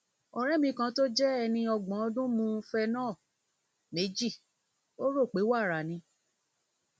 ọrẹ mi kan tó jẹ ẹni ọgbọn ọdún ọgbọn ọdún mu phenol méjì ó rò pé wàrà ni